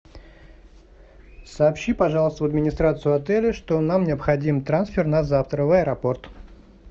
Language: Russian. сообщи пожалуйста в администрацию отеля что нам необходим трансфер на завтра в аэропорт